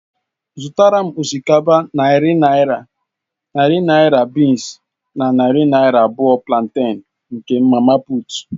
Zụtàra m osikapa narị naira, narị naira bịịns na narị naira abụọ planten n'aka mama puut.